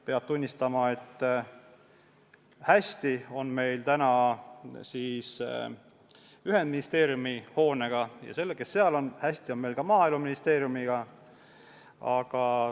Peab tunnistama, et hästi on meil asjad ühendministeeriumi hoones ja ka Maaeluministeeriumis.